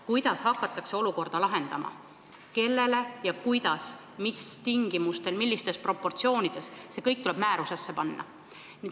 Kuidas hakatakse olukorda lahendama, kellele ja kuidas, mis tingimustel, millistes proportsioonides raha antakse – see kõik tuleb määrustesse panna.